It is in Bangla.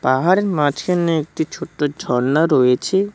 পাহাড়ের মাঝখানে একটি ছোট্ট ঝর্ণা রয়েছে।